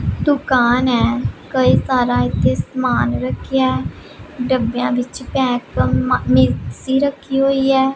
ਦੁਕਾਨ ਹੈ ਕਈ ਸਾਰਾ ਇੱਥੇ ਸਮਾਨ ਰੱਖਿਆ ਡੱਬਿਆਂ ਵਿੱਚ ਪੈਕ ਮਿਕਸੀ ਰੱਖੀ ਹੋਈ ਹੈ।